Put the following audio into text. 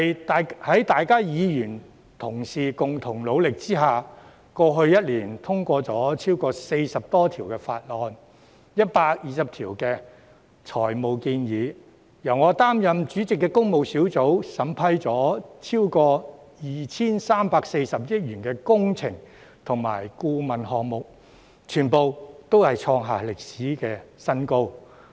在各位議員同事共同努力之下，過去1年，立法會通過了40多項法案 ，120 項財務建議；由我擔任主席的工務小組委員會審批了超過 2,340 億元的工程及顧問項目，全部都創下歷史新高。